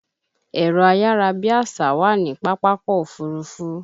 Ẹ̀rọ ayárabíàsá wà ní Pápákọ̀ Òfurufú